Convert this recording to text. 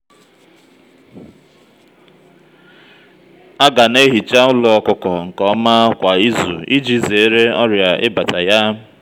aga na-ehicha ụlọ ọkụkọ nke òmà kwa izu iji zere ọrịa ibàtá ya.